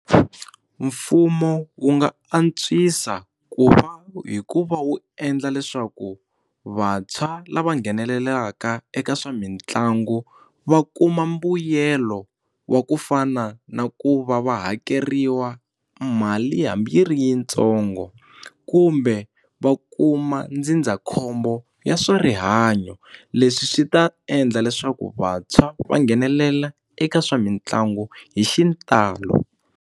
Mfumo wu nga antswisa ku va hikuva wu endla leswaku vantshwa lava nghenelelaka eka swa mitlangu va kuma mbuyelo wa kufana na ku va va hakeriwa mali hambi yi ri yitsongo kumbe va kuma ndzindzakhombo ya swa rihanyo leswi swi ta endla leswaku vantshwa va nghenelela eka swa mitlangu hi xitalo.